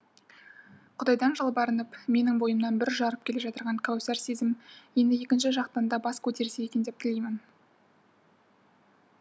құдайдан жалбарынып менің бойымнан бүр жарып келе жатқан кәусар сезім енді екінші жақтан да бас көтерсе екен деп тілеймін